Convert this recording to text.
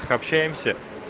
общаемся